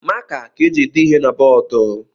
Maka ka eji ede ihe na bọọdụ